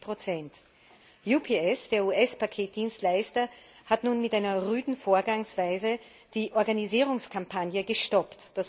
50 UPS, der US Paketdienstleister, hat nun mit einer rüden Vorgangsweise die Organisierungskampagne gestoppt.